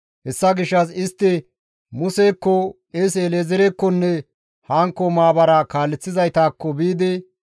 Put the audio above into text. Hessa gishshas istti Musekko, qeese El7ezeerekkonne hankko maabara kaaleththizaytakko biidi,